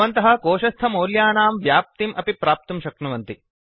भवन्तः कोशस्थमौल्यानां व्याप्तिम् अपि प्राप्तुं शक्नुवन्ति